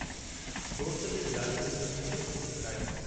दोस्त जे दिलासे मुंहिंजे सूर खे कुझु घटायो।